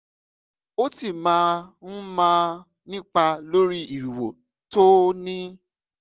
ó sì máa ń máà nípa lórí ìrìwò tó o ní